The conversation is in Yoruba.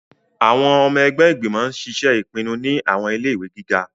Awọn ọmọ ẹgbẹ igbimọ ń ṣiṣe ipinnu ni awọn ile-iwẹ giga